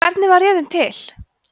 hvernig varð jörðin til